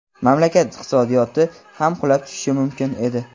Mamlakat iqtisodiyoti ham qulab tushishi mumkin edi.